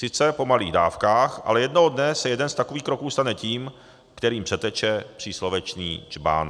Sice po malých dávkách, ale jednoho dne se jeden z takových kroků stane tím, kterým přeteče příslovečný džbán.